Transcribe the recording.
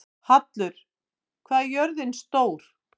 Hallur, hvað er jörðin stór?